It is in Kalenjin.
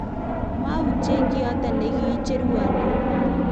moyutyen kiyoto ne kiicherwon eut